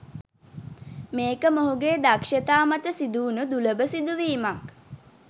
මේක මොහුගේ දක්ෂතා මත සිදුවුණු දුලබ සිදුවීමක්.